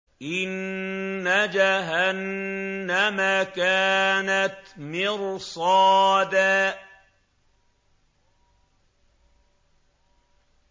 إِنَّ جَهَنَّمَ كَانَتْ مِرْصَادًا